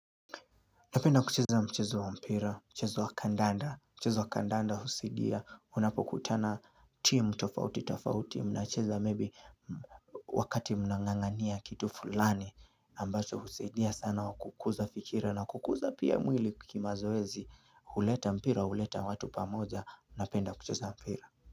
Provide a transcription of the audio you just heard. Napenda kucheza mchezo wa mpira, mchezo wa kandanda, mchezo wa kandanda husaidia, unapokutana timu tofauti tofauti, mnacheza maybe wakati mnangangania kitu fulani, ambacho husaidia sana wa kukuza fikira na kukuza pia mwili kimazoezi, huleta mpira, huleta watu pamoja, napenda kucheza mpira.